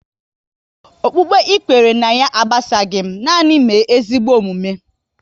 Okpukpe ị kwere ná ya agbasaghi m, nanị mee ezigbo omume